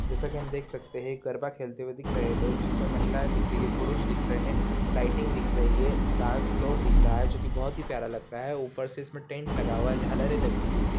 जैसा कि हम देख सकते है गरबा खेलते हुए दिख रहे है लोग जिसमें महिलाएं दिख रही है पुरुष दिख रहे है लाइटिंग दिख रही है डांस फ्लोर दिख रहे है जो कि बहुत प्यारा लग रहा है ऊपर से इसमें टेंट लगा हुआ है झालरें लगी हुई है।